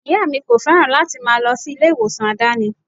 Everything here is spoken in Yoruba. Ìyá mi kò féràn láti máa lọ sí ilé ìwòsàn àdáni.